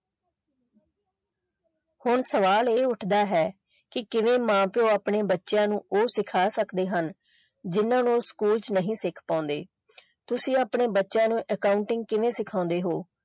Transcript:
ਹੁਣ ਸਵਾਲ ਇਹ ਉੱਠਦਾ ਹੈ ਕਿ ਕਿਵੇਂ ਮਾਂ ਪਿਓ ਆਪਣੇ ਬੱਚਿਆਂ ਨੂੰ ਉਹ ਸਿਖਾ ਸਕਦੇ ਹਨ ਕਿ ਜਿਨ੍ਹਾਂ ਨੂੰ ਉਹ school ਵਿੱਚ ਨਹੀਂ ਸਿੱਖ ਪਾਉਂਦੇ ਤੁਸੀਂ ਆਪਣੇ ਬੱਚਿਆਂ ਨੂੰ accounting ਕਿਵੇਂ ਸਿਖਾਉਂਦੇ ਹੋ।